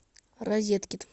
розеткид